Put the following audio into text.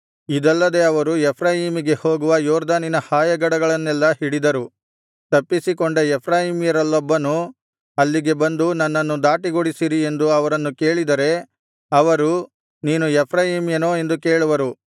ಇದಲ್ಲದೆ ಅವರು ಎಫ್ರಾಯೀಮಿಗೆ ಹೋಗುವ ಯೊರ್ದನಿನ ಹಾಯಗಡಗಳನ್ನೆಲ್ಲಾ ಹಿಡಿದರು ತಪ್ಪಿಸಿಕೊಂಡ ಎಫ್ರಾಯೀಮ್ಯರಲ್ಲೊಬ್ಬನು ಅಲ್ಲಿಗೆ ಬಂದು ನನ್ನನ್ನು ದಾಟಗೊಡಿಸಿರಿ ಎಂದು ಅವರನ್ನು ಕೇಳಿದರೆ ಅವರು ನೀನು ಎಫ್ರಾಯೀಮ್ಯನೋ ಎಂದು ಕೇಳುವರು